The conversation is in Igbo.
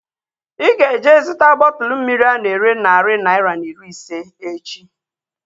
Ịga eje zụta bọtụlu mmiri ana ere narị naira na iri ise echi